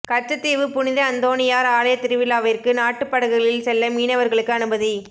கச்சத்தீவு புனித அந்தோணியார் ஆலய திருவிழாவிற்கு நாட்டுப்படகுகளில் செல்ல மீனவர்களுக்கு அனுமதி